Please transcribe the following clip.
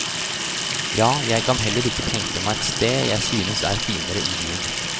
Ja, jeg kan heller ikke tenke meg et sted jeg synes er finere i byen.